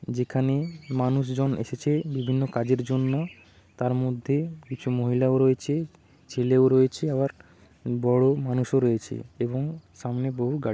যেখানে মানুষজন এসেছে বিভিন্ন কাজের জন্য তার মধ্যে কিছু মহিলাও রয়েছে ছেলেও রয়েছে আবার বড় মানুষও রয়েছে এবং সামনে বহু গা---